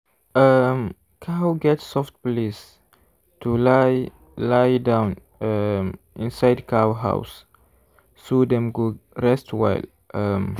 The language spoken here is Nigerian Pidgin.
um cow get soft place to lie lie down um inside cow house so dem go rest well. um